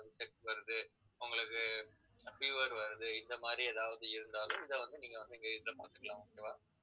வருது உங்களுக்கு fever வருது இந்த மாதிரி எதாவது இருந்தாலும் இதை வந்து நீங்க வந்து எங்ககிட்ட பாத்துக்கலாம் okay வா